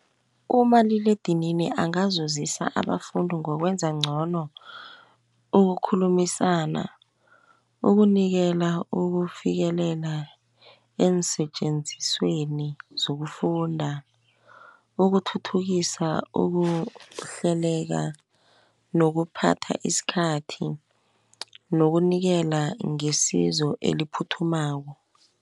Umaliledinini angazusisa abafundi ngokwenza ngcono ukukhulumisana, ukunikela ukufikelela eensetjenzisweni zokufunda, ukuthuthukisa, ukuhleleka nokuphatha isikhathi. Nokunikelwa ngesizo eliphuthumako.